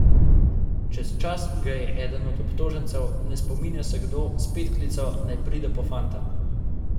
Čez čas ga je eden od obtožencev, ne spominja se kdo, spet klical, naj pride po fanta.